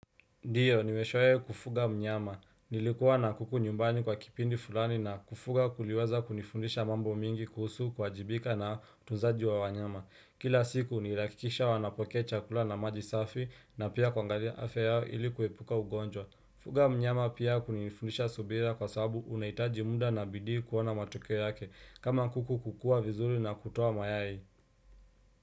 Ndiyo, nimeshawai kufuga mnyama. Nilikuwa na kuku nyumbani kwa kipindi fulani na kufuga kuliweza kunifundisha mambo mingi kuhusu kuajibika na utunzaji wa wanyama. Kila siku nilihkikisha wanapokea chakula na maji safi na pia kuangalia afya yao ili kuepuka ugonjwa. Fuga mnyama pia hunifundisha subira kwa sabu unaitaji muda na bidii kuona matokeo yake kama kuku kukua vizuri na kutuwa mayai.